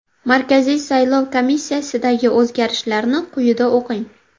Markaziy salov komissiyasidagi o‘zgarishlarni quyida o‘qing.